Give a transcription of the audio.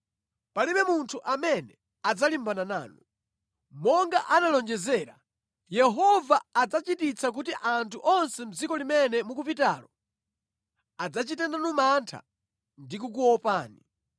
Palibe munthu amene adzalimbana nanu. Monga analonjezera, Yehova adzachititsa kuti anthu onse mʼdziko limene mukupitalo adzachite nanu mantha ndi kukuopani.